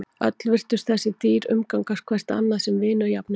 Öll virtust þessi dýr umgangast hvert annað sem vini og jafningja.